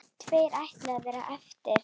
Tveir ætluðu að verða eftir.